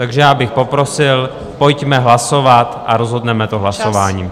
Takže já bych poprosil, pojďme hlasovat a rozhodneme to hlasováním.